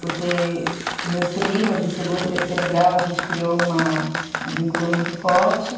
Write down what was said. Continuo, porque meus primos de segundo, terceiro grau, a gente criou uma um vínculo muito forte.